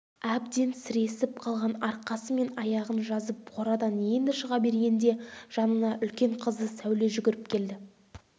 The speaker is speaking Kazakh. әбден сіресіп қалған арқасы мен аяғын жазып қорадан енді шыға бергенде жанына үлкен қызы сәуле жүгіріп келді